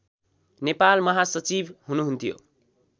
नेपाल महासचिव हुनुहुन्थ्यो